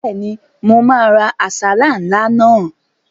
Bẹ́ẹ̀ni, mo máa ra àsálà ńlá náà